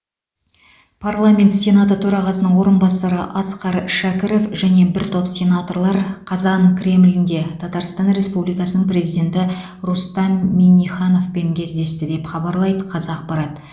парламент сенаты төрағасының орынбасары асқар шәкіров және бір топ сенаторлар қазан кремлінде татарстан республикасының президенті рустам миннихановпен кездесті деп хабарлайды қазақпарат